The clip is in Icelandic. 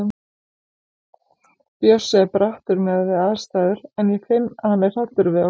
Bjössi er brattur miðað við aðstæður en ég finn að hann er hræddur um okkur.